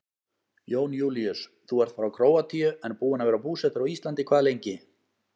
Jón Júlíus: Þú ert frá Króatíu en búinn að vera búsettur á Íslandi hvað lengi?